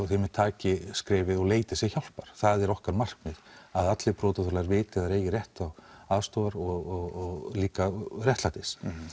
þeir einmitt taki skrefið og leiti sér hjálpar það er okkar markmið að allir brotaþolar viti að þeir eigi rétt á aðstoð og líka réttlæti